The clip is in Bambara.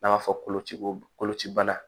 N'an b'a fɔ koloci kolocibana